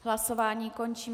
Hlasování končím.